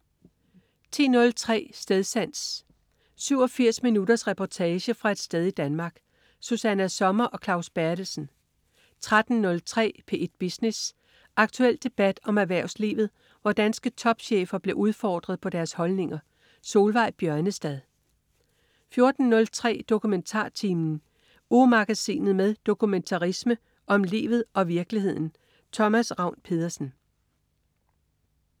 10.03 Stedsans. 87 minutters reportage fra et sted i Danmark. Susanna Sommer og Claus Berthelsen 13.03 P1 Business. Aktuel debat om erhvervslivet, hvor danske topchefer bliver udfordret på deres holdninger. Solveig Bjørnestad 14.03 DokumentarTimen. Ugemagasinet med dokumentarisme om livet og virkeligheden. Thomas Ravn-Pedersen